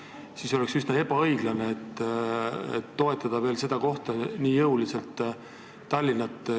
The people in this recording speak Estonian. Seega oleks üsna ebaõiglane toetada seda kohta, Tallinna, veel nii jõuliselt.